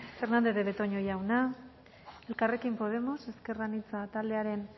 fernandez de betoño jauna elkarrekin podemos ezker anitza taldearen